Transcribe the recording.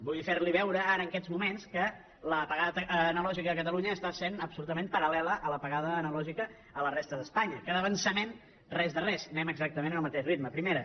vull fer li veure ara en aquests moments que l’apagada analògica a catalunya està sent absolutament paral·lela a l’apagada analògica a la resta d’espanya que d’avançament res de res anem exactament al mateix ritme primera